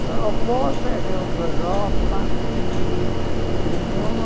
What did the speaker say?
Sua avó viajou para a Europa em mil nove.